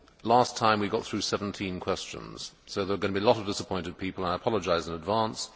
Last time we got through 17 questions, so there are going to be a lot of disappointed people and I apologise in advance.